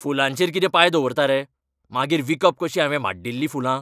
फुलांचेर कितें पांय दवरता रे. मागीर विकप कशीं हावें माड्डिल्लीं फुलां?